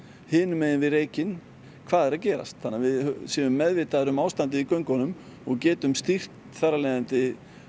hinum megin við reykinn hvað er að gerast þannig að við séum meðvitaðir um ástandið í göngunum og getum stýrt þar af leiðandi